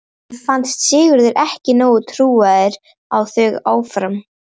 Honum fannst Sigurður ekki nógu trúaður á þau áform.